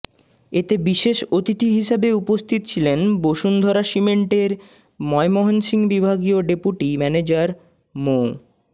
এতে বিশেষ অতিথি হিসেবে উপস্থিত ছিলেন বসুন্ধরা সিমেন্টের ময়মনসিংহ বিভাগীয় ডেপুটি ম্যানেজার মো